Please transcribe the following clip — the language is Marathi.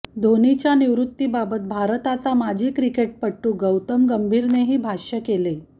ढोनीच्या निवृत्तीबाबत भारताचा माजी क्रिकेटपटू गौतम गंभीरनेही भाष्य केले